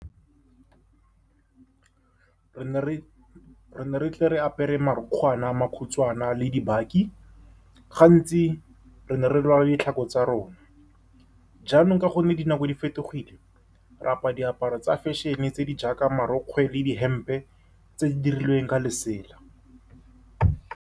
Re ne re tle re apere marukgwana a makhutswana le dibaki. Gantsi re ne re rwala ditlhako tsa rona. Jaanong ka gonne dinako di fetogile, ra apara diaparo tsa fashion-e tse di jaaka marokgwe le dihempe tse di dirilweng ka lesela.